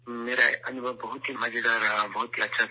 میرا تجربہ بہت ہی مزیدار رہا ، بہت ہی اچھا تھا